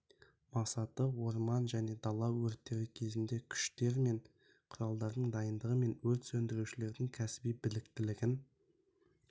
мақсаты орман және дала өрттері кезінде күштер мен құралдардың дайындығы мен өрт сөндірушілердің кәсіби біліктілігін